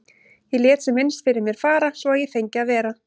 Ég lét sem minnst fyrir mér fara svo að ég fengi að vera.